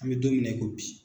An bɛ don min na i ko bi